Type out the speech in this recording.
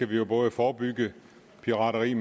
vi jo både forebygge pirateri